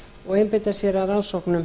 og einbeita sér að rannsóknum